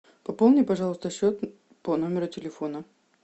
пополни пожалуйста счет по номеру телефона